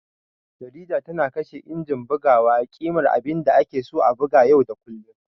Jarida tana kashe injin bugawa a ƙimar abinda ake san a buga yau da kullun.